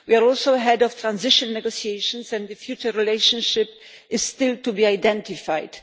We also have ahead transition negotiations and the future relationship is still to be identified.